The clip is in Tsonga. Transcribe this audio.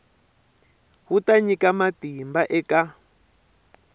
wu ta nyika matimba eka